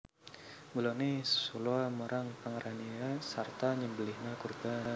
Mulane sholaa marang Pangeranira sarta nyembeliha kurban